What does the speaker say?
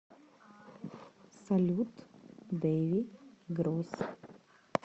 салют дэви гросс